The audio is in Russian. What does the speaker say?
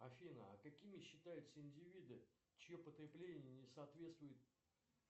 афина а какими считаются индивиды чье потребление не соответствует